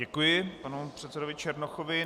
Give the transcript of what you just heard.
Děkuji panu předsedovi Černochovi.